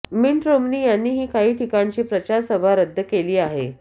minute Romney यांनीही काही ठिकाणची प्रचार सभा रद्द केली आहे